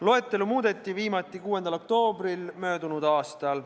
Loetelu muudeti viimati 6. oktoobril möödunud aastal.